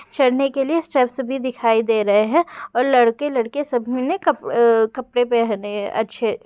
चढ़ने के लिए सर्स भी दिखाई दे रहे हैं और लड़के लड़के सभी ने कप अ कपड़े पहने अच्छे।